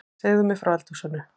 Segðu mér frá eldhúsinu